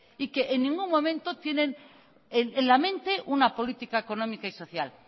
y que en ningún momento tienen en la mente una política económica y social